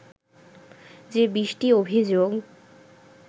যে বিশটি অভিযোগ